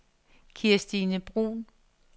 Kirstine Bruun